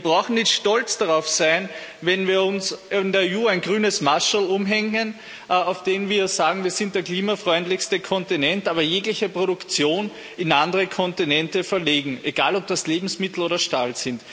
Wir brauchen nicht stolz darauf zu sein, wenn wir uns in der EU ein grünes Mascherl umhängen, auf dem wir sagen, wir sind der klimafreundlichste Kontinent, aber jegliche Produktion in andere Kontinente verlegen, egal ob das Lebensmittel sind oder Stahl.